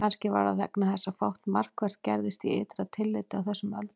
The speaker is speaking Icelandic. Kannski var það vegna þess að fátt markvert gerðist í ytra tilliti á þessum öldum.